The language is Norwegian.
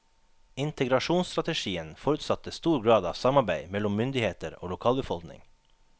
Integrasjonsstrategien forutsatte stor grad av samarbeid mellom myndigheter og lokalbefolkning.